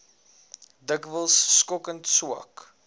dikwels skokkend swak